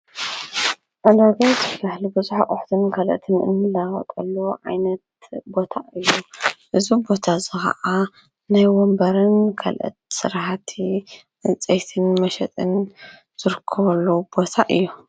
እንዶበት ብህሊ ብዙኅ ቝሕትን ገልእቲ ምእኒላወጠሉ ዓይነት ቦታ እዩ እዙ ቦታ እዙ ኸዓ ናይ ወንበርን ገልእት ሠረሓቲ እንፀይትን መሸጥን ዘርከበሉ ቦታ እዩ።